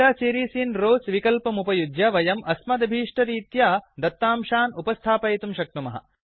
data series in rows विकल्पमुपयुज्य वयम् अस्मदभीष्टरीत्या दत्तांशान् उपस्थापयितुं शक्नुमः